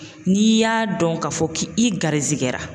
N'i y'a dɔn k'a fɔ k'i garizigɛra